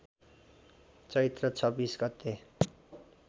चैत्र २६ गते